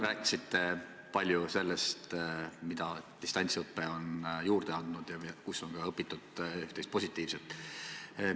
Rääkisite palju sellest, mida distantsõpe on juurde andnud ja kus on seda õpitud positiivselt kasutama.